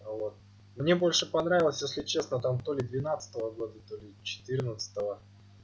мне больше понравилось если честно там толи двенадцатого года толи четырнадцатого